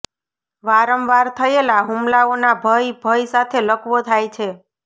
વારંવાર થયેલા હુમલાઓના ભય ભય સાથે લકવો થાય છે